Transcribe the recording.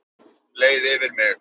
Leið yfir mig?